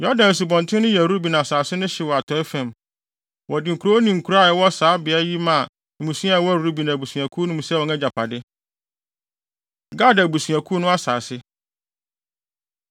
Yordan Asubɔnten no yɛ Ruben asase no hye wɔ atɔe fam. Wɔde nkurow ne nkuraa a ɛwɔ saa beae yi maa mmusua a ɛwɔ Ruben abusuakuw no mu sɛ wɔn agyapade. Gad Abusuakuw No Asase